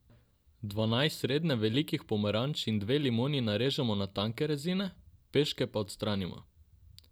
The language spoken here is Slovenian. Dvanajst srednje velikih pomaranč in dve limoni narežemo na tanke rezine, peške pa odstranimo.